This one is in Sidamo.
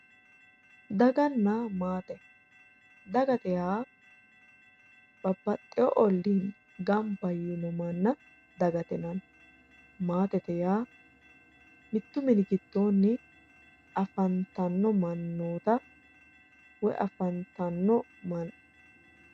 daganna maate dagate yaa babbaxewo olli gamba yiino manna dagate yinanni maatete yaa mittu mini giddoonni afantanno mannoota woy manna